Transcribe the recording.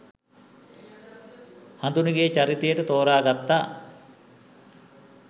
හඳුනිගේ චරිතයට තෝරාගත්තා